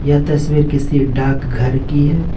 यह तस्वीर किसी डाकघर की है।